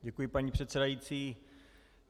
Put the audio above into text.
Děkuji, paní předsedající.